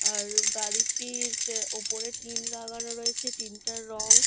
আর গাড়িটির যে ওপরে টিন লাগানো রয়েছে টিন টার রং--